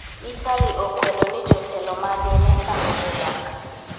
Italy okwedo ni jotelo mage ne sando jodak